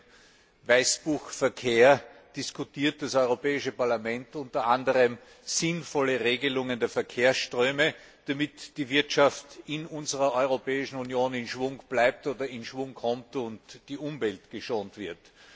Mit dem Weißbuch Verkehr diskutiert das Europäische Parlament unter anderem sinnvolle Regelungen der Verkehrsströme, damit die Wirtschaft in unserer Europäischen Union in Schwung bleibt oder in Schwung kommt und die Umwelt geschont wird.